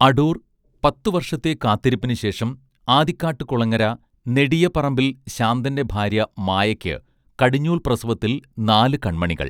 അടൂർ പത്തുവർഷത്തെ കാത്തിരിപ്പിനു ശേഷം ആദിക്കാട്ടുകുളങ്ങര നെടിയപറമ്പിൽ ശാന്തന്റെ ഭാര്യ മായക്ക്‌ കടിഞ്ഞൂൽ പ്രസവത്തിൽ നാലു കണ്മണികൾ